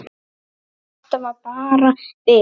En þetta var bara bið.